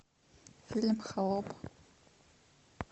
фильм холоп